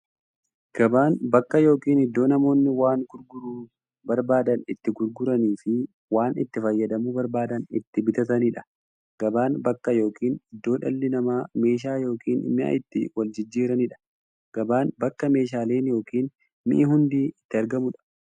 Gabaan bakka yookiin iddoo namoonni waan gurguruu barbaadan itti gurguraniifi waan itti fayyadamuu barbaadan itti bitataniidha. Gabaan bakka yookiin iddoo dhalli namaa meeshaa yookiin mi'a itti waljijjiiraniidha. Gabaan bakka meeshaaleen ykn mi'i hundi itti argamuudha.